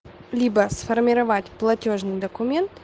либо сформировать платёжный документ